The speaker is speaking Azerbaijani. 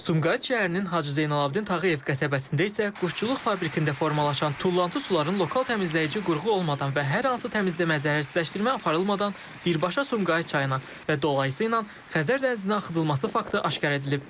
Sumqayıt şəhərinin Hacı Zeynalabdin Tağıyev qəsəbəsində isə quşçuluq fabrikində formalaşan tullantı suları lokal təmizləyici qurğu olmadan və hər hansı təmizləmə zərərsizləşdirmə aparılmadan birbaşa Sumqayıt çayına və dolayısı ilə Xəzər dənizinə axıdılması faktı aşkar edilib.